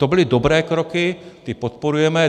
To byly dobré kroky, ty podporujeme.